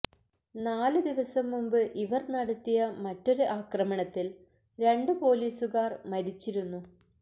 നാല് ദിവസം മുമ്പ് ഇവര് നടത്തിയ മറ്റൊരു ആക്രമണത്തില് രണ്ട് പോലീസുകാര് മരിച്ചിരുന്നു